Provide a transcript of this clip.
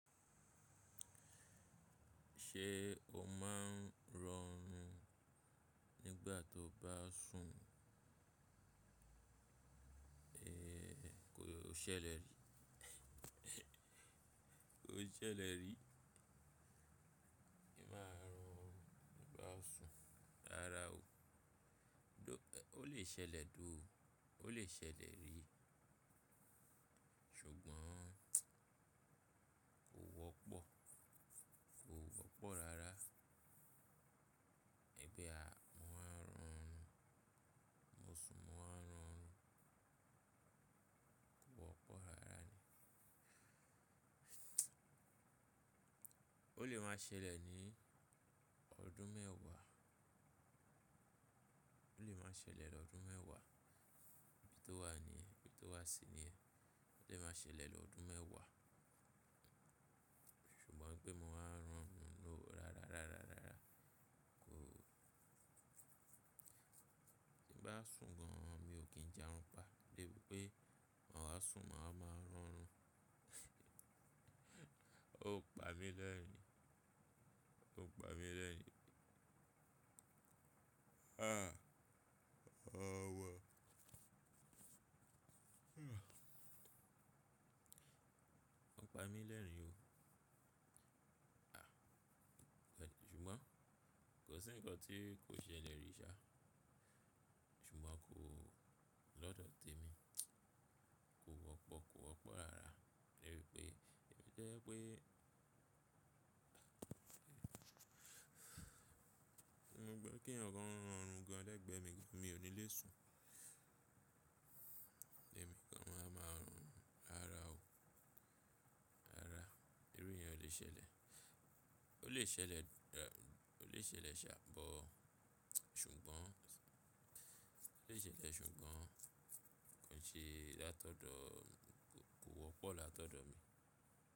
Ṣé o máa ń rọrún nígbà tó bá sùn? Ee, kò ṣẹlẹ̀ rí. Kò ṣẹlẹ̀ rí. Ìmá rọrún nígbà tó sùn. Rárá o. Ó lè ṣẹlẹ̀ though. Ó lè ṣẹlẹ̀ rí. Ṣùgbọ́n kò wọ́pọ̀. Kò wọ́pọ̀ rárá. Ẹmí à ma wá ń rọrún. Mo sùn mo wá ń rọrún. Kò wọ́pọ̀ rárá ni. Ó lè máa ṣẹlẹ̀ ní ọdún mẹ́wàá. Ó lè máa ṣẹlẹ̀ lọ́dún mẹ́wàá. Bí tó wà ni, bí tó wà sí ni, ó lè máa ṣẹlẹ̀ lọ́dún mẹ́wàá. Ṣùgbọ́n pé mo wá ń rọrún lóru rárá, rárá, rárá. Kò. Bí bá sùn gan an mi ò kí ń jẹun pa. Debi pé màá sùn, màá máa rọrún. Ó pa mí lẹ́rìn-ín. Ó pa mí lẹ́rìn-ín. Ah! Ọ̀ wọ. Ó pa mí lẹ́rìn-ín o. Ah! Ṣùgbọ́n kò sí ǹkan tí kò ṣẹlẹ̀ rí ṣá. Ṣùgbọ́n kò lọ́dọ̀ tèmi. Kò wọ́pọ̀, kò wọ́pọ̀ rárá. Nibẹ̀ pé, èmi jẹ́ pé mo gbọ́ kí ǹkan rọrùn gan an lẹ́gbẹ̀ẹ́ mi, mi ò ní le sùn. Eniikan a wá máa rọrùn. Rárá o. Rárá. Irú ẹ̀yán lè ṣẹlẹ̀. Ó lè ṣẹlẹ̀, ó lè ṣẹlẹ̀ ṣá but. Ṣùgbọ́n ó lè ṣẹlẹ̀ ṣùgbọ́n kon ṣe látọ̀dọ̀ kò wọ́pọ̀ látọ̀dọ̀ mi.